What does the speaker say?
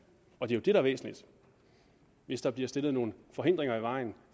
og det er der er væsentligt hvis der bliver stillet nogle forhindringer i vejen